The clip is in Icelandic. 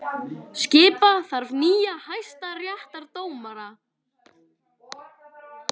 Skipa þarf nýja hæstaréttardómara